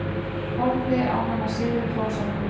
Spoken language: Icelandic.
Horfði á hana sigri hrósandi.